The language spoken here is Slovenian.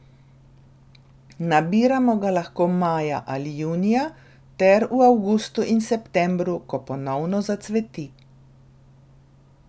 Nabiramo ga lahko maja ali junija ter v avgustu in septembru, ko ponovno zacveti.